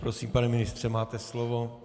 Prosím, pane ministře, máte slovo.